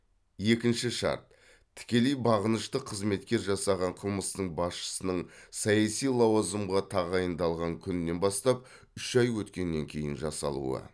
екінші шарт тікелей бағынышты қызметкер жасаған қылмыстың басшының саяси лауазымға тағайындалған күнінен бастап үш ай өткеннен кейін жасалуы